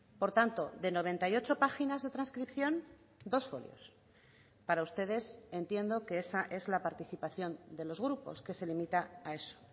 por tanto de noventa y ocho páginas de transcripción dos folios para ustedes entiendo que esa es la participación de los grupos que se limita a eso